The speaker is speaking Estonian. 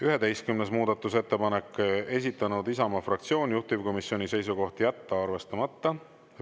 11. muudatusettepanek, esitanud Isamaa fraktsioon, juhtivkomisjoni seisukoht on jätta arvestamata.